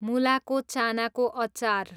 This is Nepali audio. मुलाको चानाको अचार